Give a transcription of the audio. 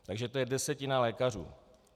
Takže to je desetina lékařů.